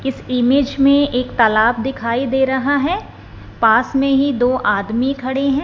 इस इमेज में एक तालाब दिखाई दे रहा है पास में ही दो आदमी खड़े हैं।